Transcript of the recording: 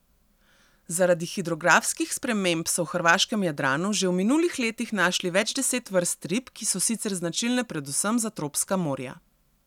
Zaradi hidrografskih sprememb so v hrvaškem Jadranu že v minulih letih našli več deset vrst rib, ki so sicer značilne predvsem za tropska morja.